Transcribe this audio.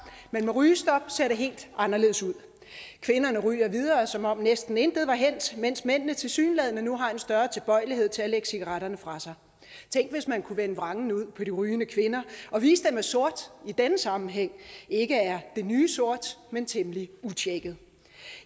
men med rygestop ser det helt anderledes ud kvinderne ryger videre som om næsten intet var hændt mens mændene tilsyneladende nu har en større tilbøjelighed til at lægge cigaretterne fra sig tænk hvis man kunne vende vrangen ud på de rygende kvinder og vise dem at sort i denne sammenhæng ikke er det nye sort men temmelig utjekket